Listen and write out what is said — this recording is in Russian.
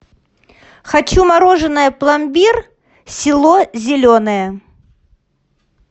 хочу мороженое пломбир село зеленое